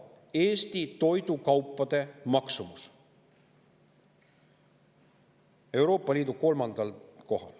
Euroopa Liidus kolmandal kohal!